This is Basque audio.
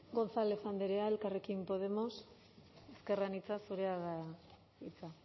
gonzález andrea elkarrekin podemos ezker anitza zurea da hitza